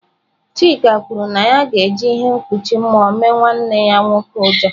Chika kwuru na ya ga-eji ihe mkpuchi mmụọ mee nwanne ya nwoke ụjọ.